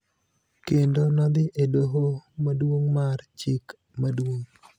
kendo nodhi e doho Maduong� mar Chik Maduong�